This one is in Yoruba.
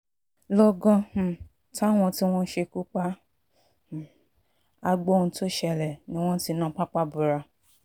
lọ́gán um táwọn tí wọ́n ṣekú pa um á gbọ́ ohun tó ṣẹlẹ̀ ni wọ́n ti na pápá bora